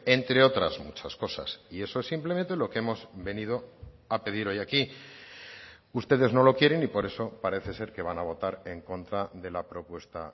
entre otras muchas cosas y eso es simplemente lo que hemos venido a pedir hoy aquí ustedes no lo quieren y por eso parece ser que van a votar en contra de la propuesta